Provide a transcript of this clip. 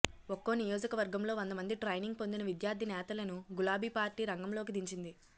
ఒక్కో నియోజకవర్గంలో వందమంది ట్రైనింగ్ పొందిన విద్యార్థి నేతలను గులాబి పార్టీ రంగంలోకి దించింది